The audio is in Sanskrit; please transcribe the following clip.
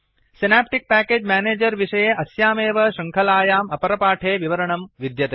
सिनेप्टिक् पैकेज मैनेजर विषये अस्यामेव शृङ्खलायाम् अपरपाठे विवरणमं विद्यते